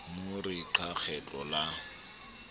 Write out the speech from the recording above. mo re qa kgetlo la